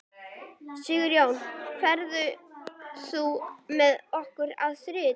Sigjón, ferð þú með okkur á þriðjudaginn?